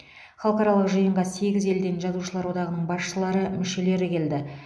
халықаралық жиынға сегіз елден жазушылар одағының басшылары мүшелері келді